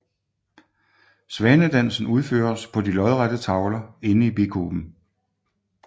Svansedansen udføres på de lodrette tavler inde i bikuben